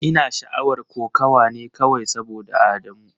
Ina sha'awar kokawa ne kawai saboda Adamu.